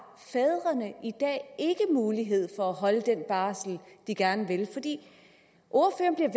mulighed for at holde den barsel de gerne vil ordføreren